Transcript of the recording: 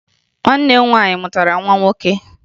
Nwanne m nwaanyị mụtara nwa nwoke